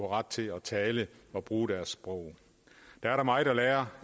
ret til at tale og bruge deres sprog der er der meget at lære